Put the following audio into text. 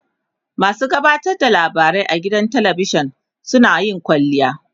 masu gabatar da labarai a gidan talavishan suna yin kwalliya